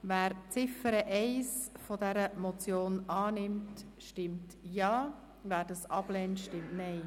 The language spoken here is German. Wer die Ziffer 1 dieser Motion annimmt, stimmt Ja, wer diese ablehnt, stimmt Nein.